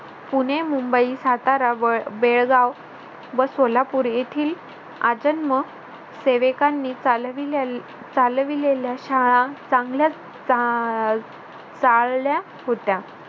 पुणे, मुंबई, सातारा व बेळगाव व सोलापूर येथील आजन्म सेवकांनी चालविले चालविलेल्या शाळा चांगल्याच चा आह चालल्या होत्या.